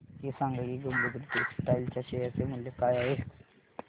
हे सांगा की गंगोत्री टेक्स्टाइल च्या शेअर चे मूल्य काय आहे